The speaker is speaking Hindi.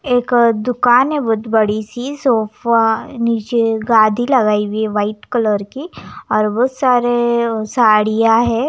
एक दुकान है बहुत बड़ी-सीसोफा नीचे गादी लगाई हुई है व्हाइट कलर की और बहुत सारे साड़ियाँं हैं।